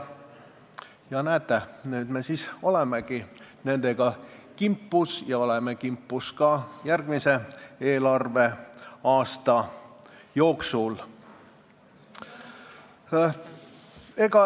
Näete, nüüd me siis olemegi nendega kimpus, ja oleme kimpus ka järgmise eelarveaasta jooksul.